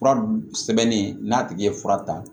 Fura sɛbɛnni n'a tigi ye fura ta